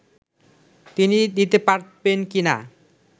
তিনি দিতে পারবেন কি না